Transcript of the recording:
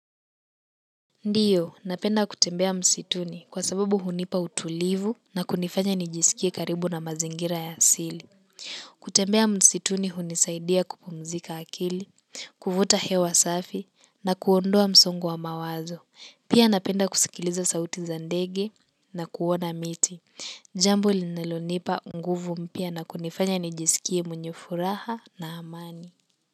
Ndiyo, napenda kutembea msituni kwa sababu hunipa utulivu na kunifanya nijisikie karibu na mazingira ya asili. Kutembea msituni hunisaidia kupumzika akili, kuvuta hewa safi na kuondoa msongo wa mawazo. Pia napenda kusikiliza sauti za ndege na kuona miti. Jambo linalonipa nguvu pia na kunifanya nijisikie mwenye furaha na amani.